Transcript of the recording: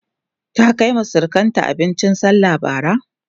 ta Kaima surukanta abincin sallah Bara?